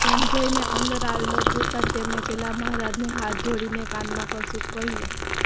સંજયને અંદર આવેલો જોતાં જ તેમણે પેલા મહારાજને હાથ જોડીને કાનમાં કશુંક કહ્યું